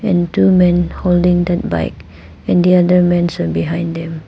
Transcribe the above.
And two men holding that bike and the other men stood behind them.